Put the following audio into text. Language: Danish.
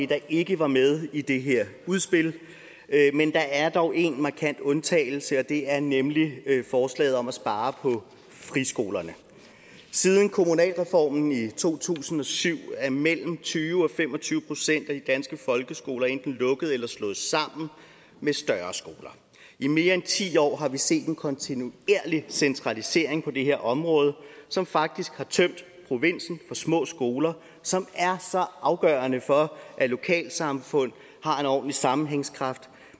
der ikke var med i det her udspil men der er dog én markant undtagelse og det er nemlig forslaget om at spare på friskolerne siden kommunalreformen i to tusind og syv er mellem tyve og fem og tyve procent af de danske folkeskoler enten lukket eller slået sammen med større skoler i mere end ti år har vi set en kontinuerlig centralisering på det her område som faktisk har tømt provinsen for små skoler som er så afgørende for at lokalsamfund har en ordentlig sammenhængskraft